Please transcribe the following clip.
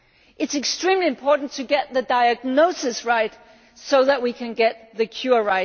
right, it is extremely important to get the diagnosis right, so that we can get the